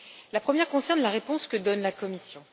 La première concerne la réponse que donne la Commission.